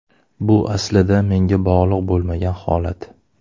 Bu aslida menga bog‘liq bo‘lmagan holat.